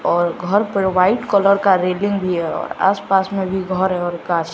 और घर पर वाइट कलर का रेलिंग भी है और आस-पास में भी घर है गाछ --